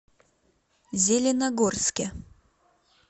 зеленогорске